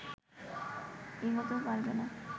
এগোতেও পারবে না